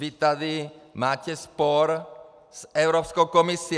Vy tady máte spor s Evropskou komisí.